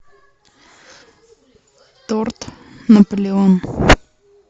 торт наполеон